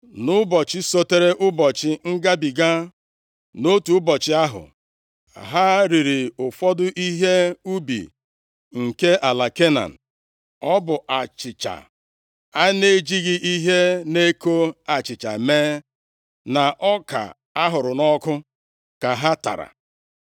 Nʼụbọchị sotere ụbọchị ngabiga, nʼotu ụbọchị ahụ, ha riri ụfọdụ ihe ubi nke ala Kenan. Ọ bụ achịcha a na-ejighị ihe na-eko achịcha mee, na ọka ahụrụ nʼọkụ ka ha tara.